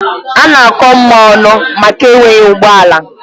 A na-akọ Mma ọnụ maka enweghị ụgbọ ala.